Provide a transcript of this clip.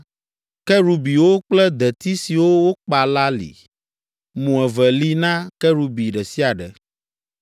kerubiwo kple deti siwo wokpa la li. Mo eve li na kerubi ɖe sia ɖe.